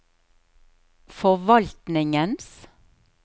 forvaltningens